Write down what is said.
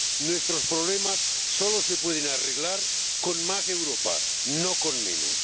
Nuestros problemas solo se pueden arreglar con más Europa, no con menos.